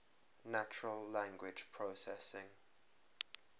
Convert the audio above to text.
natural language processing